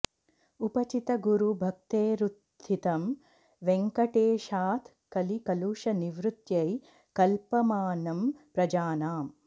उपचित गुरु भक्तेरुत्थितं वेङ्कटेशात् कलि कलुष निवृत्त्यै कल्पमानं प्रजानाम्